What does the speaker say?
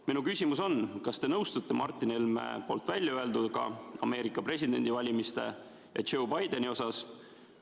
Minu küsimus on: kas te nõustute Martin Helme poolt väljaöelduga Ameerika presidendivalimiste ja Joe Bideni kohta?